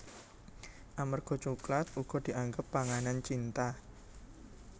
Amarga coklat uga dianggep panganan cinta